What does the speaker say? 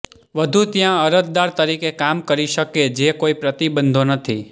વધુ ત્યાં અરજદાર તરીકે કામ કરી શકે જે કોઈ પ્રતિબંધો નથી